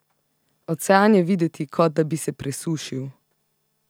Ocean je videti, kot da bi se presušil!